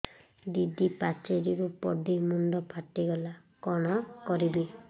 ଦିଦି ପାଚେରୀରୁ ପଡି ମୁଣ୍ଡ ଫାଟିଗଲା କଣ କରିବି